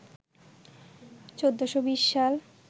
১৪২০ সাল